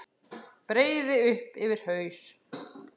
Breiði upp yfir haus.